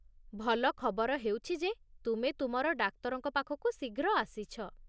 ଭଲ ଖବର ହେଉଛି ଯେ ତୁମେ ତୁମର ଡାକ୍ତରଙ୍କ ପାଖକୁ ଶୀଘ୍ର ଆସିଛ।